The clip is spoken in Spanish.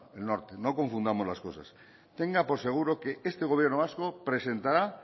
el norte no confundamos las cosas tenga por seguro que este gobierno vasco presentará